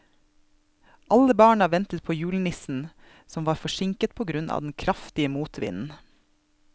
Alle barna ventet på julenissen, som var forsinket på grunn av den kraftige motvinden.